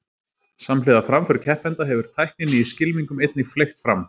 Samhliða framför keppenda hefur tækninni í skylmingum einnig fleygt fram.